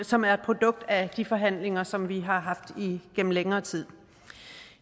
som er et produkt af de forhandlinger som vi har haft igennem længere tid